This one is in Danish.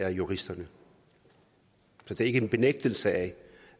og juristernes så det er ikke en benægtelse af